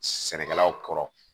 Sɛnɛkɛlaw kɔrɔ